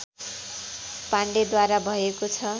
पाण्डेद्वारा भएको छ